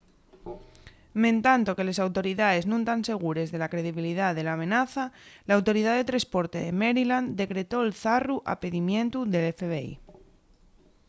mentanto que les autoridaes nun tán segures de la credibilidá de l’amenaza l’autoridá de tresporte de maryland decretó’l zarru a pidimientu del fbi